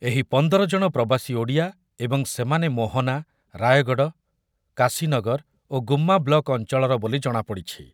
ଏହି ପନ୍ଦର ଜଣ ପ୍ରବାସୀ ଓଡ଼ିଆ ଏବଂ ସେମାନେ ମୋହନା, ରାୟଗଡ଼, କାଶୀନଗର ଓ ଗୁମ୍ମା ବ୍ଲକ୍ ଅଞ୍ଚଳର ବୋଲି ଜଣାପଡ଼ିଛି ।